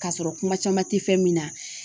K'a sɔrɔ kuma caman tɛ fɛn min na